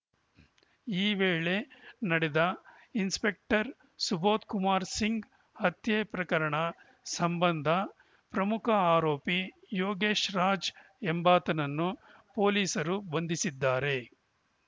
ಈ ವೇಳೆ ನಡೆದ ಇನ್ಸ್‌ಪೆಕ್ಟರ್‌ ಸುಬೋದ್‌ಕುಮಾರ್‌ ಸಿಂಗ್‌ ಹತ್ಯೆ ಪ್ರಕರಣ ಸಂಬಂಧ ಪ್ರಮುಖ ಆರೋಪಿ ಯೋಗೇಶ್‌ ರಾಜ್‌ ಎಂಬಾತನನ್ನು ಪೊಲೀಸರು ಬಂಧಿಸಿದ್ದಾರೆ